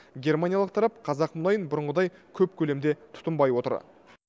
германиялық тарап қазақ мұнайын бұрынғыдай көп көлемде тұтынбай отыр